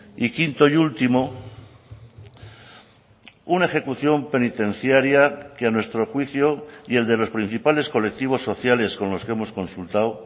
y quinto y último una ejecución penitenciaria que a nuestro juicio y el de los principales colectivos sociales con los que hemos consultado